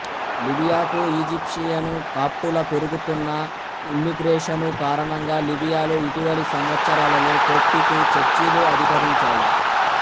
లిబియాకు Egyptian కాప్టుల పెరుగుతున్న immigration కారణంగా లిబియాలో ఇటీవలి సంవత్సరాలలో కోప్టికు చర్చీలు అధికరించాయి